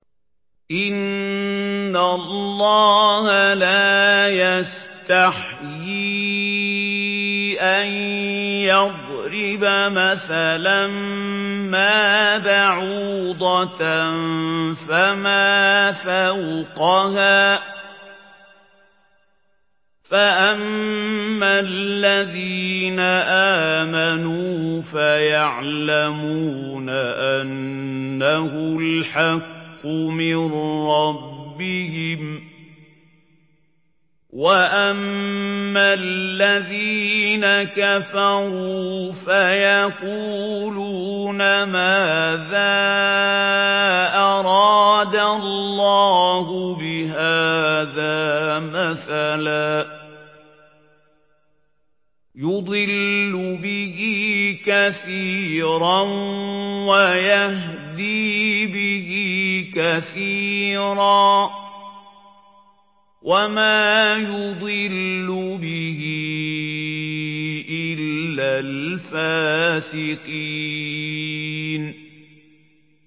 ۞ إِنَّ اللَّهَ لَا يَسْتَحْيِي أَن يَضْرِبَ مَثَلًا مَّا بَعُوضَةً فَمَا فَوْقَهَا ۚ فَأَمَّا الَّذِينَ آمَنُوا فَيَعْلَمُونَ أَنَّهُ الْحَقُّ مِن رَّبِّهِمْ ۖ وَأَمَّا الَّذِينَ كَفَرُوا فَيَقُولُونَ مَاذَا أَرَادَ اللَّهُ بِهَٰذَا مَثَلًا ۘ يُضِلُّ بِهِ كَثِيرًا وَيَهْدِي بِهِ كَثِيرًا ۚ وَمَا يُضِلُّ بِهِ إِلَّا الْفَاسِقِينَ